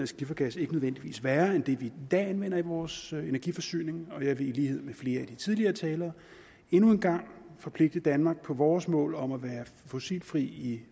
skifergas ikke nødvendigvis værre end det vi i dag anvender i vores energiforsyning og jeg vil i lighed med flere af de tidligere talere endnu en gang forpligte danmark på vores mål om at være fossilfri i